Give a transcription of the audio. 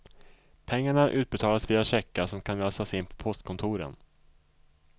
Pengarna utbetalas via checkar som kan lösas in på postkontoren.